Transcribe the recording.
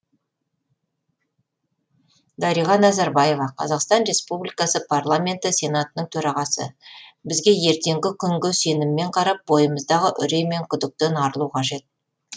дариға назарбаева қазақстан республикасы парламенті сенатының төрағасы бізге ертеңгі күнге сеніммен қарап бойымыздағы үрей мен күдіктен арылу қажет